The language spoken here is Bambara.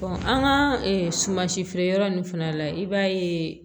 an ka sumansi feere yɔrɔ ninnu fana la i b'a ye